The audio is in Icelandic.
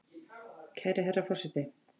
Kæri herra forseti!